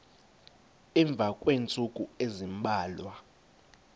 emva kweentsukwana ezimbalwa